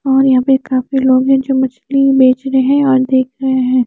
और यहां पे काफी लोग हैं जो मछली बेच रहे हैं और देख रहे हैं।